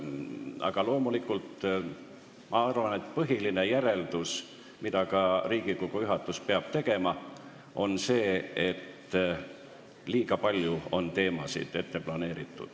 Aga ma arvan, et põhiline järeldus, mille ka Riigikogu juhatus peab tegema, on see, et liiga palju teemasid ei tohi ette planeerida.